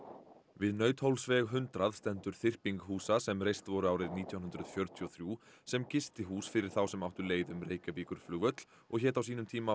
við Nauthólsveg hundrað stendur þyrping húsa sem reist voru árið nítján hundruð fjörutíu og þrjú sem gistihús fyrir þá sem áttu leið um Reykjavíkurflugvöll og hét á sínum tíma